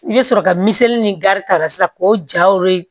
I bɛ sɔrɔ ka miseli ni gari tara sisan k'o ja